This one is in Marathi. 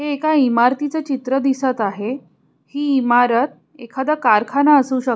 हे एका इमारतीच चित्र दिसत आहे ही इमारत एखाद कारखाना असू शक--